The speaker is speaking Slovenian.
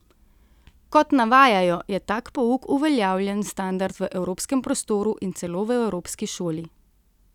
Kot navajajo, je tak pouk uveljavljen standard v evropskem prostoru in celo v evropski šoli.